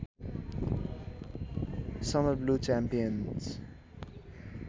summer blue च्याम्पेन्ज